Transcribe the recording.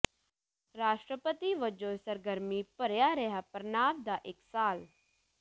ਰਾਸ਼ਟਰਪਤੀ ਵਜੋਂ ਸਰਗਰਮੀ ਭਰਿਆ ਰਿਹਾ ਪ੍ਰਣਾਬ ਦਾ ਇਕ ਸਾਲ